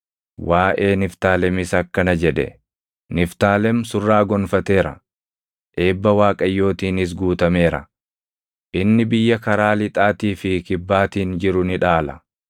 Waaʼee Niftaalemis akkana jedhe: “Niftaalem surraa gonfateera; eebba Waaqayyootiinis guutameera; inni biyya karaa lixaatii fi kibbaatiin jiru ni dhaala.”